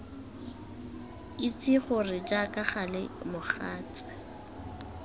itse gore jaaka gale mogatse